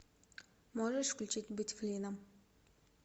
можешь включить быть флином